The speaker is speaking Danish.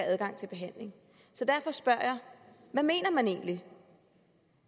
adgang til behandling så derfor spørger jeg hvad mener man egentlig